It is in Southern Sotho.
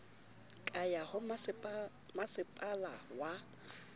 ka ya ho masepala wa